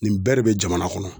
Nin bɛɛ de be jamana kɔnɔ.